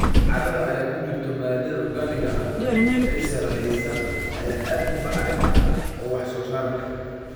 Carrada ay ku jirto maadada organic-ga ah ee sareysa ayaa aad u bacrin ah oo wax soo saar leh.